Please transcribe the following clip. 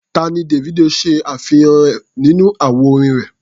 Tá ni Davido ṣàfihàn nínú àwo orin rẹ̀?